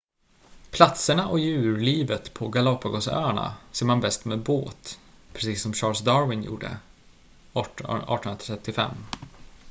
platserna och djurlivet på galápagosöarna ser man bäst med båt precis som charles darwin gjorde det 1835